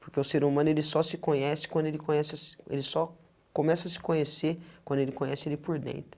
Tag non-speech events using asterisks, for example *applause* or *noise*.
Porque o ser humano ele só se conhece quando ele conhece... *unintelligible* ele só começa a se conhecer, quando ele conhece ele por dentro.